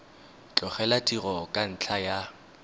tlogela tiro ka ntlha ya